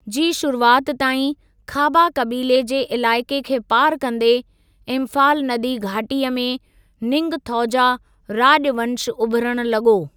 जी शुरुआति ताईं, खाबा कबीले जे इलाइक़े खे पार कंदे, इंफाल नदी घाटी में निंगथौजा राज॒वंश उभिरण लगो॒।